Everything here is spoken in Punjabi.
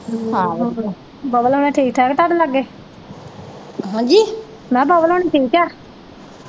ਹਾਂ ਵਧੀਆ ਬੱਬਲ ਹੋਣੀ ਠੀਕ ਠਾਕ ਤੁਹਾਡੇ ਲਾਗੇ ਮੈ ਕਿਹਾ ਬੱਬਲ ਹੋਣੀ ਠੀਕ ਆ।